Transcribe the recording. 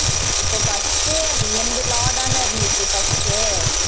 இப்ப first என்னுது law தான இருந்துச்சு first